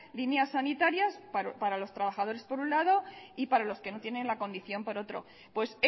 líneas sanitarias para los trabajadores por un lado y para los que no tienen la condición por otro pues